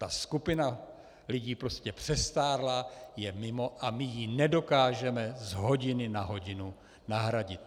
Ta skupina lidí prostě přestárla, je mimo a my ji nedokážeme z hodiny na hodinu nahradit.